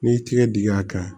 N'i y'i tigɛ dingɛ kan